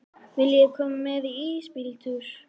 Viljiði koma með í ísbíltúr?